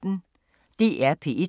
DR P1